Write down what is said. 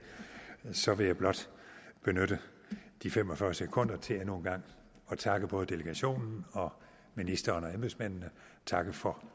så vil jeg blot benytte de fem og fyrre sekunder til endnu en gang at takke både delegationen og ministeren og embedsmændene og takke for